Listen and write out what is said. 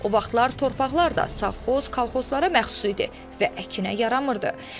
O vaxtlar torpaqlar da sovxoz, kolxozlara məxsus idi və əkinə yaramırdı.